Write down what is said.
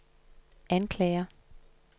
anklager